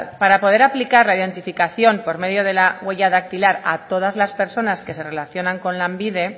para poder aplicar la identificación por medio de la huella dactilar a todas las personas que se relacionan con lanbide